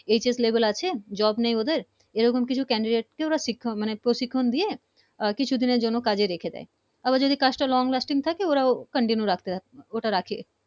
HS Level আছে Job নেই ওদের এই রকম কিছু candidate কে শিক্ষক মানে প্রশিক্ষন দিয়ে কিছু দিনের জন্য কাজে রেখে দেয় আবার যদি কাজ টা long-lasting থাকে ওরা ও continue রাখতে চাই ওটা রাখে